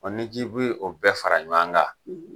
ni ji kun ye o bɛɛ fara ɲɔgɔn kan,